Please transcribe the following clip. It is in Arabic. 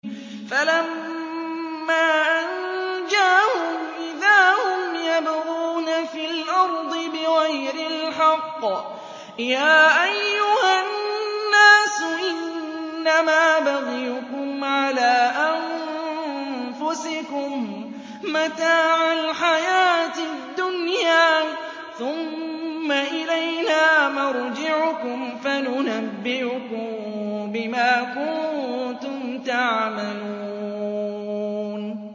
فَلَمَّا أَنجَاهُمْ إِذَا هُمْ يَبْغُونَ فِي الْأَرْضِ بِغَيْرِ الْحَقِّ ۗ يَا أَيُّهَا النَّاسُ إِنَّمَا بَغْيُكُمْ عَلَىٰ أَنفُسِكُم ۖ مَّتَاعَ الْحَيَاةِ الدُّنْيَا ۖ ثُمَّ إِلَيْنَا مَرْجِعُكُمْ فَنُنَبِّئُكُم بِمَا كُنتُمْ تَعْمَلُونَ